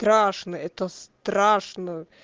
страшный это страшно